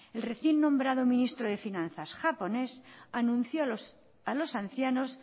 el recién nombrado ministro de finanzas japonés anunció a los ancianos